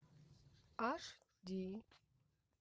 аш ди